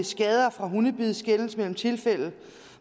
skader fra hundebid skelnes mellem tilfælde